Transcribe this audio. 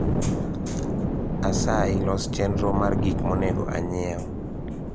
asayi los chenro mar gik monego anyiew